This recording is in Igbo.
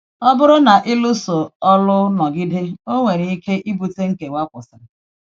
Ọ bụrụ na ịlụ̀sọ̀lụ̀ nọgide, ọ nwere ike ibute nkewa kwụ̀sịrị.